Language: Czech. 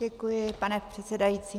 Děkuji, pane předsedající.